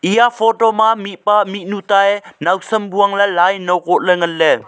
eya photo ma mihpa mihnu tae nawsam bu angley lai ano kohley nganley.